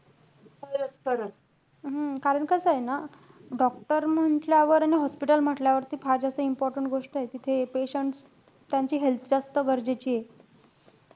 हम्म कारण कसंय ना, doctor म्हंटल्यावर आणि hospital म्हंटल्यावर फार जास्ती important गोष्टय तिथे patient, त्यांची health जास्त गरजेचीये.